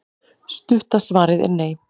Stutta svarið er nei.